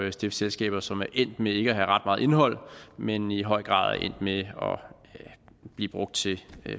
at stifte selskaber som er endt med ikke at have ret meget indhold men i høj grad er endt med at blive brugt til